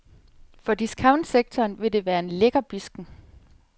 For discountsektoren vil det være en lækkerbidsken.